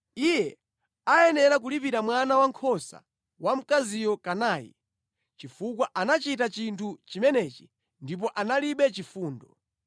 Iye ayenera kulipira mwana wankhosa wamkaziyo kanayi, chifukwa anachita chinthu chimenechi ndipo analibe chifundo.”